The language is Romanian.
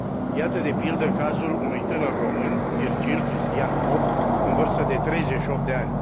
Iată, de pildă, cazul unui tânăr român, Virgil Cristian Pop, în vârstă de 38 de ani.